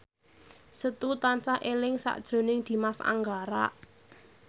Setu tansah eling sakjroning Dimas Anggara